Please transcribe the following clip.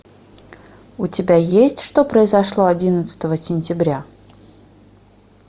у тебя есть что произошло одиннадцатого сентября